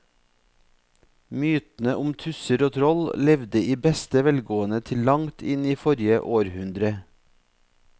Mytene om tusser og troll levde i beste velgående til langt inn i forrige århundre.